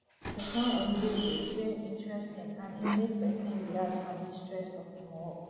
to plan holiday de dey interesting and e make persin relax from di stress of im work